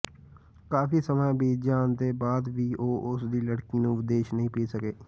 ਕਾਫ਼ੀ ਸਮਾਂ ਬੀਤ ਜਾਣ ਦੇ ਬਾਅਦ ਵੀ ਉਹ ਉਸਦੀ ਲੜਕੀ ਨੂੰ ਵਿਦੇਸ਼ ਨਹੀਂ ਭੇਜ ਸਕੇ